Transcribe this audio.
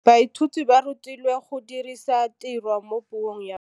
Baithuti ba rutilwe go dirisa tirwa mo puong ya bone.